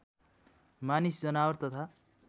मानिस जनावर तथा